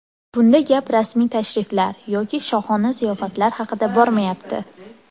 Bunda gap rasmiy tashriflar yoki shohona ziyofatlar haqida bormayapti.